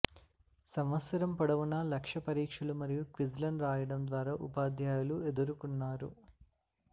సంవత్సరం పొడవునా లక్ష్య పరీక్షలు మరియు క్విజ్లను రాయడం ద్వారా ఉపాధ్యాయులు ఎదురుకున్నారు